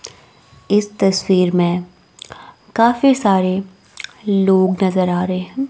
इस तस्वीर में काफी सारे लोग नजर आ रहे हैं।